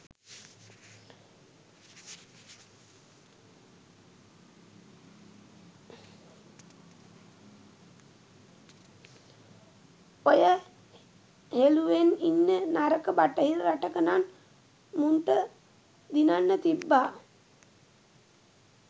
ඔය හෙළුවෙන් ඉන්න නරක බටහිර රටක නං මුන්ට දිනන්න තිබ්බා.